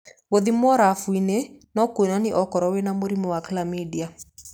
Gũthimwo rabu-inĩ no kũonanie okorwo wĩna mũrimũ wa Chlamydia.